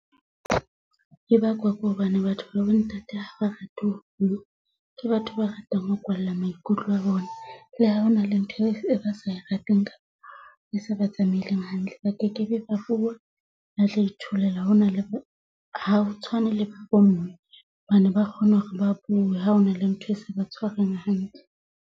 E bakwa ko hobane batho babo ntate ha ba rate ho bua. Ke batho ba ratang ho kwalla maikutlo a bona. Le ha hona le ntho e ba sa e rateng kapa e se ba tsamaeleng hantle, ba kekebe ba bua. Ba tla itholela ha hona le ha o tshwane le bo mme hobane ba kgone hore ba bue. Ha hona le ntho e saba tshwareng hantle.